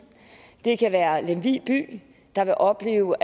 det kan være lemvig by der vil opleve